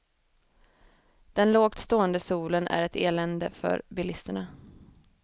Den lågt stående solen är ett elände för bilisterna.